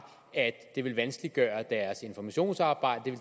at det ville vanskeliggøre deres informationsarbejde og